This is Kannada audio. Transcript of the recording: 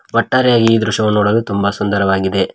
ಒಟ್ಟಾರೆಯಾಗಿ ಈ ದೃಶ್ಯ ನೋಡಲು ತುಂಬಾ ಸುಂದರವಾಗಿದೆ.